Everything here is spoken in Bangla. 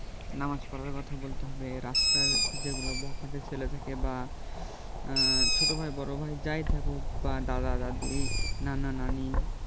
নামাজ পড়ার কথা বলতে হবে রাস্তার যেগুলা বখাটে ছেলে থাকে বা আহ ছোট ভাই বড় ভাই যাই থাকুক বা দাদা দাদি নানা নানী